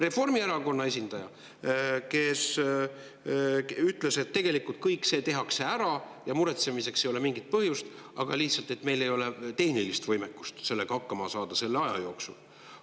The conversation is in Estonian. Reformierakonna esindaja ütles, et tegelikult kõik see tehakse ära ja muretsemiseks ei ole mingit põhjust, aga meil ei ole lihtsalt tehnilist võimekust sellega hakkama saada selle aja jooksul.